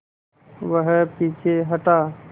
वह पीछे हटा